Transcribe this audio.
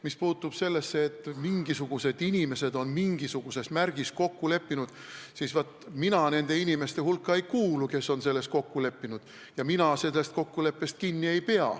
Mis puutub sellesse, et mingisugused inimesed on mingisuguses märgis kokku leppinud, siis vaat mina nende inimeste hulka ei kuulu, kes on selles kokku leppinud, ja mina sellest kokkuleppest kinni ei pea.